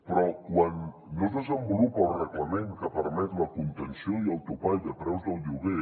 però quan no es desenvolupa el reglament que permet la contenció i el topall de preus del lloguer